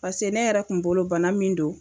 Pase ne yɛrɛ kun bolo bana min don